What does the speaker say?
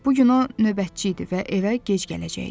Bu gün o növbətçi idi və evə gec gələcəkdi.